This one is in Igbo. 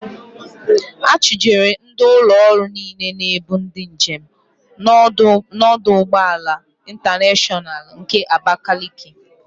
A chụjere ndị ụlọ ọrụ niile na-ebu ndị njem n'ọdụ ụgbọala Ịntaneshọnal nke Abakaliki.